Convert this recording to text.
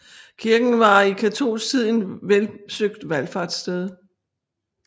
Kirken var i katolsk tid en velsøgt valfartssted